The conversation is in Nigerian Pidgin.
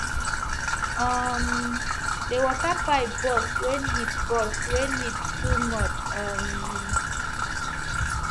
um the water pipe burst when heat burst when heat too much um